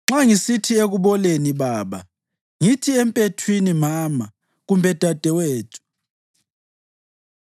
nxa ngisithi ekuboleni, ‘Baba,’ ngithi empethwini, ‘Mama’ kumbe ‘Dadewethu,’